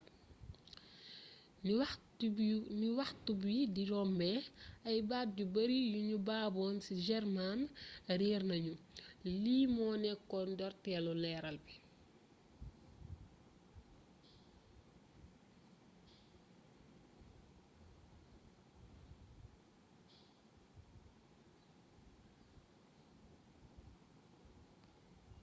ni waxtu bi di rombé ay baat yu bari yu nu baboon ci german réér nagnu lii mo nékkoon ndortélu leeral bi